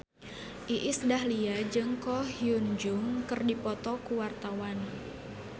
Iis Dahlia jeung Ko Hyun Jung keur dipoto ku wartawan